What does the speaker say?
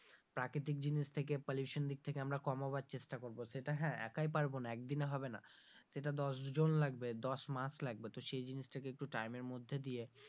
প্রাকৃতিক জিনিস থেকে pollution দিক থেকে আমরা কমানোর চেষ্টা করব সেটা হ্যাঁ একাই পারবোনা, একদিনে হবেনা সেটা দশ জন লাগবে দশ মাস লাগবে তো সেই জিনিস টাকে একটু time এর মধ্যে দিয়ে,